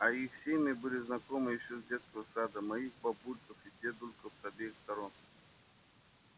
а их семьи были знакомы ещё с детского сада моих бабульков и дедульков с обеих сторон